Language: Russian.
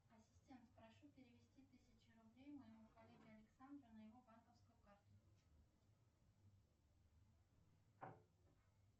ассистент прошу перевести тысячу рублей моему коллеге александру на его банковскую карту